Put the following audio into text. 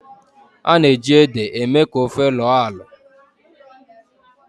a na-eji ede eme ka ofe lọọ alọ